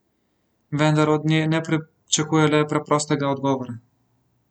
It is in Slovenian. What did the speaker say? Vendar od nje ne pričakuje le preprostega odgovora.